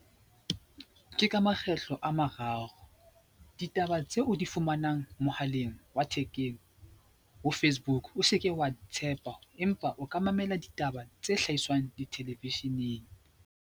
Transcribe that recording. Ke ka makgetlo a mararo. Ditaba tseo o di fumanang mohaleng wa thekeng ho Facebook o seke wa di tshepa empa o ka mamela ditaba tse hlahiswang di-television-eng.